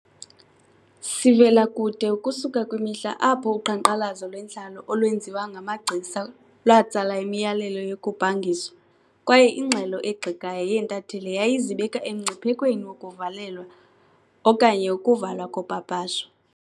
Sivela kude ukusuka kwimihla apho uqhankqalazo lwentlalo olwenziwa ngamagcisa latsala imiyalelo yokubhangiswa, kwaye ingxelo egxekayo yeentatheli yayizibeka emngciphekweni wokuvalelwa okanye ukuvalwa kopapasho.